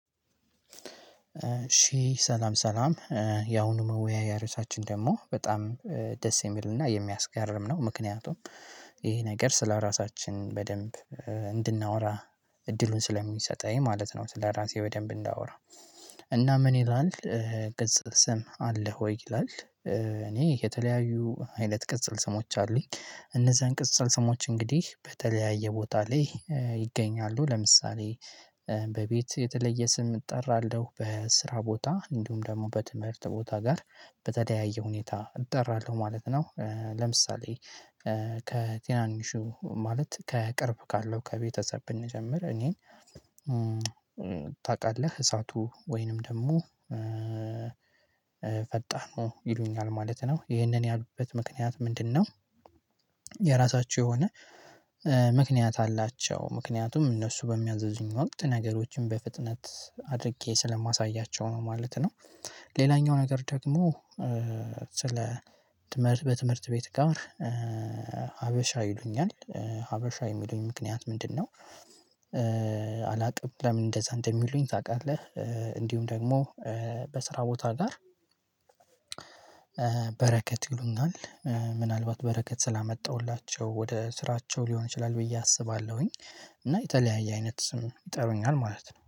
እሺ ሰላም ሰላም ያሁኑ መወያያ እርሳችን ደግሞ በጣም ደስ የሚልና የሚያስገርም ነው። ምክንያቱም ይሄ ነገር ስለራሳችን በደንብ እንድናወራ እድሉን ስለሚሰጠኝ ማለት ነው። ስለራሴ በደንብ እንዳወራ እና ምን ይላል? ቅጽል ስም አለ ሆይ ይላል? እኔ የተለያዩ አይነት ቅጽል ስሞች አሉኝ። እነዛን ቅጽል ስሞች እንግዲህ በተለያየ ቦታ ላይ ይገኛሉ ለምሳሌ በቤት የተለየ ስም እጠራለሁ በስራ ቦታ እንዲሁም ደግሞ በትምህርት ቦታ ጋር በተለያየ ሁኔታ እጠራለሁ ማለት ነው። ለምሳሌ ከትናንሹ ማለት ከቅርብ ካለው ከቤተሰብ ብንጀምር እኔን ታውቃለህ እሳቱ ወይንም ደግሞ ፈጣኑ ይሉኛል ማለት ነው። ይህንን ያሉበት ምክንያት ምንድነው? የራሳቸው የሆነ ምክንያት አላቸው ምክንያቱም እነሱ በሚያዘዙኝ ወቅት ነገሮችን በፍጥነት አድርጌ ስለማሳያቸው ነው ማለት ነው። ሌላኛው ነገር ደግሞ ስለ ትምህርት በትምህርት ቤት ጋር ሀበሻ ይሉኛል ሀበሻ የሚሉኝ ምክንያት ምንድነው? አላውቅም ለምን እንደዛ እንደሚሉኝ ታውቃለህ። እንዲሁም ደግሞ በስራ ቦታ ጋር በረከት ይሉኛል። ምናልባት በረከት ስላመጣሁላቸው ወደ ስራቸው ሊሆን ይችላል ብዬ አስባለሁኝ። እና የተለያየ አይነት ስም ይጠሩኛል ማለት ነው